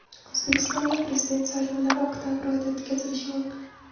O‘zbekistonda Prezident saylovlari oktabr oyida o‘tkazilishi mumkin.